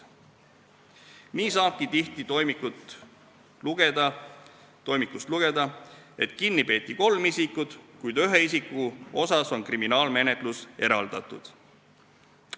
Nii saabki tihti toimikust lugeda, et kinni peeti kolm isikut, kuid ühe isiku kriminaalmenetlus on teiste omast eraldatud.